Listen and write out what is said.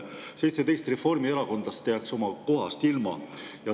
17 reformierakondlast jääks oma kohast ilma.